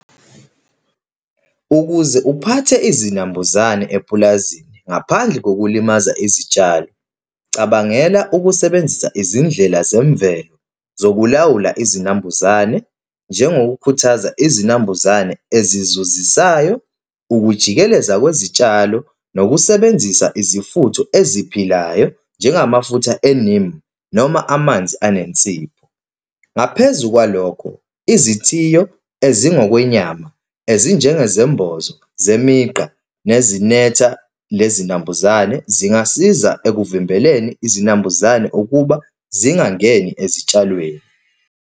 Ukuze uphathe izinambuzane epulazini, ngaphandle kokulimaza izitshalo, cabangela ukusebenzisa izindlela zemvelo zokulawula izinambuzane, njengokukhuthaza izinambuzane ezizuzisayo, ukujikeleza kwezitshalo, nokusebenzisa izifutho eziphilayo, njengamafutha e-neem, noma amanzi anensipho. Ngaphezu kwalokho, izithiyo ezingokwenyama ezinjengezembozo zemigqa nezinetha nezinambuzane, zingasiza ekuvimbeleni izinambuzane ukuba zingangeni ezitshalweni.